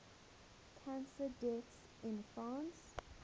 cancer deaths in france